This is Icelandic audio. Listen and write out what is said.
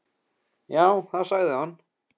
Já, það sagði hann.